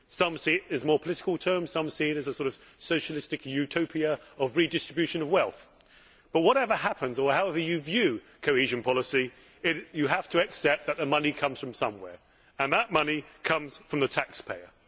Some see it in more political terms and some see it as a sort of socialistic utopia of redistribution of wealth but, whatever happens or however you view cohesion policy, you have to accept that the money comes from somewhere and that money comes from the taxpayer.